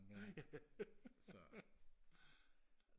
ja så